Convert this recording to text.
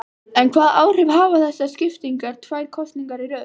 En hvaða áhrif hafa þessar sviptingar tvær kosningar í röð?